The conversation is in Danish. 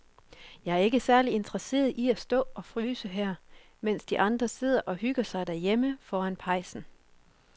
Jeg er ikke særlig interesseret i at stå og fryse her, mens de andre sidder og hygger sig derhjemme foran pejsen.